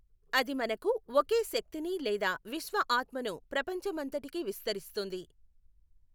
అది మనకు ఒకే శక్తిని లేదా విశ్వఆత్మను ప్రపంచ మంతటికీ విస్తరిస్తుంది.